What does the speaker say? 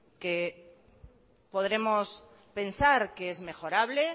que podremos pensar que es mejorable